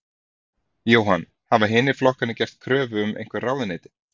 Jóhann: Hafa hinir flokkarnir gert kröfu um einhver ráðuneyti?